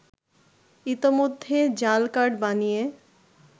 ইতোমধ্যে জাল কার্ড বানিয়ে